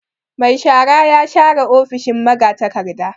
Mai shara ya share ofishin magatakarda.